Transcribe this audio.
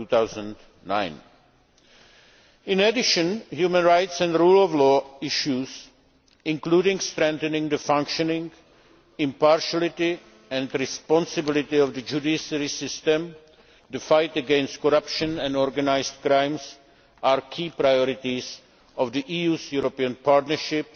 2009. In addition, human rights and rule of law issues, including strengthening the functioning, impartiality and responsibility of the judiciary system, and the fight against corruption and organised crime, are key priorities of the EU's European Partnership